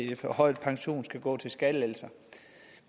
den forhøjede pensionsalder skal gå til skattelettelser